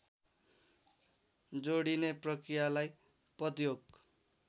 जोडिने प्रक्रियालाई पदयोग